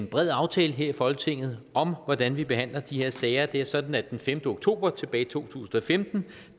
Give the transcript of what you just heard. bred aftale her i folketinget om hvordan vi behandler de her sager det er sådan at den femte oktober tilbage i to tusind og femten